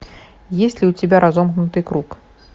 есть ли у тебя разомкнутый круг